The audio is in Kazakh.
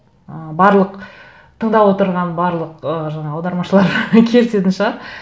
ы барлық тыңдап отырған барлық ы жаңа аудармашылар келісетін шығар